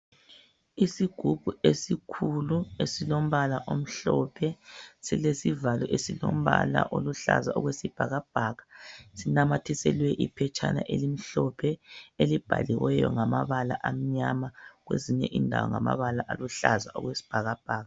Isigubhu esikhulu esilombala omhlophe silesivalo esilombala oluhlaza okwesibhakabhaka sinamathiselwe iphetshana elimhlophe elibhaliweyo ngamabala amnyama kwezinye indawo ngamabala aluhlaza okwesibhakabhaka